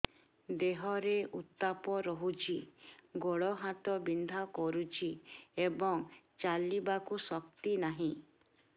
ଦେହରେ ଉତାପ ରହୁଛି ଗୋଡ଼ ହାତ ବିନ୍ଧା କରୁଛି ଏବଂ ଚାଲିବାକୁ ଶକ୍ତି ନାହିଁ